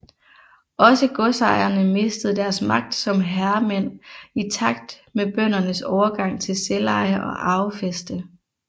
Også godsejerne mistede deres magt som herremænd i takt med bøndernes overgang til selveje og arvefæste